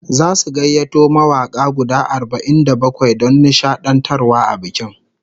Zasu gayyato mawaka guda arba'in da bakwai don nishadantarwa a bikin